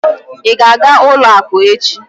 Ị ga-aga ụlọakụ echi?